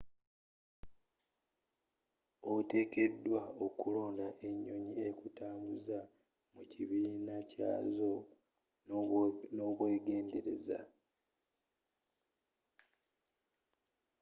otekedwa okulonda enyonyi ekutambuza mu kibiina kyazo nobwegendereza